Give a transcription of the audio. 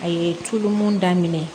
A ye tulu mun daminɛ